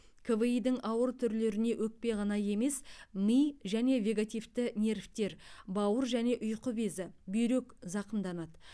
кви дің ауыр түрлеріне өкпе ғана емес ми және вегетативті нервтер бауыр және ұйқы безі бүйрек зақымданады